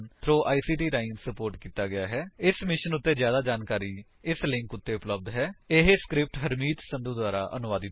ਇਸ ਮਿਸ਼ਨ ਉੱਤੇ ਜਿਆਦਾ ਜਾਣਕਾਰੀ spoken hyphen tutorial dot org slash ਨਮੈਕਟ ਹਾਈਫਨ ਇੰਟਰੋ ਉੱਤੇ ਉਪਲੱਬਧ ਹੈ ਇਹ ਸਕਰਿਪਟ ਹਰਮੀਤ ਸੰਧੂ ਦੁਆਰਾ ਅਨੁਵਾਦਿਤ ਹੈ